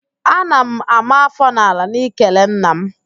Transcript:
Ana m àmá áfọ́ n'ala n'ikele nna m